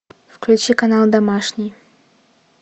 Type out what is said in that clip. включи канал домашний